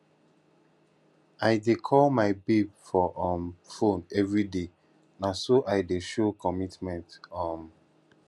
i dey call my babe for um fone everyday na so i dey show commitment um